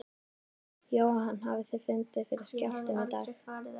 Jóhann hafið þið fundið fyrir skjálftum í dag?